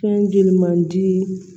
Fɛn ji man dii